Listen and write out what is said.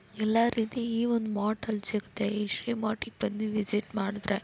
ಎಲ್ಲಾ ರೀತಿ ಈ ಒಂದ್ ಮಾರ್ಟ್ ಅಲ್ಲಿ ಸಿಗತ್ತೆ ಈ ಶ್ರೀ ಮಾರ್ಟಿಗ್ ಬಂದ್ ವಿಸಿಟ್ ಮಾಡಿದ್ರೆ.